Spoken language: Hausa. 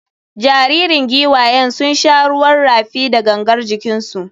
Jaririn giwayen sun sha ruwan rafi da gangar jikinsu.